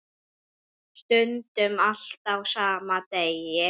Stundum allt á sama degi.